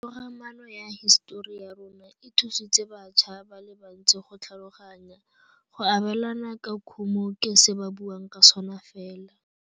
Togamaano ya hisetori ya rona, e thusitse batšha ba le bantsi go tlhaloganya. Go abêlana ka khumô ke se ba buang ka sona fela.